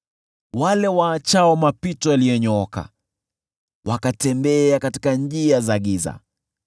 wale waachao mapito yaliyonyooka wakatembea katika njia za giza,